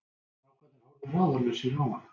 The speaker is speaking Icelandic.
Strákarnir horfðu ráðalausir á hana.